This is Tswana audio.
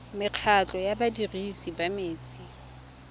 mekgatlho ya badirisi ba metsi